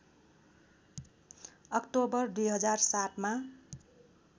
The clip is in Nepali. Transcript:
अक्टोबर २००७ मा